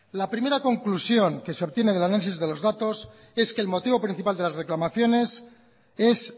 la primera conclusión que se obtiene del análisis de los datos es que el motivo principal de las reclamaciones es